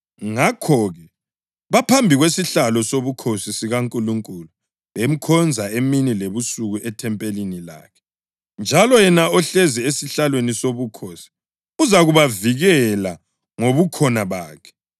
Ngakho-ke, baphambi kwesihlalo sobukhosi sikaNkulunkulu bemkhonza emini lebusuku ethempelini lakhe; njalo yena ohlezi esihlalweni sobukhosi uzakubavikela ngobukhona bakhe.